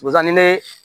Wasa ni ne